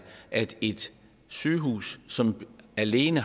at et sygehus som alene